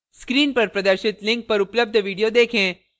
screen पर प्रदर्शित link पर उपलब्ध video देखें